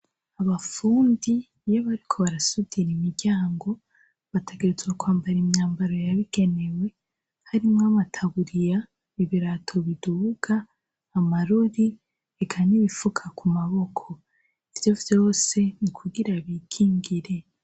Abafundi iyo bariko barasudira imiryango bategerezwa kwambara imyambaro yabigenewe harimwo amataburiya ibirato biduga amarori eka nibifuka kumaboko, ivyo vyose nikugira bikingire.